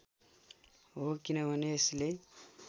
हो किनभने यसले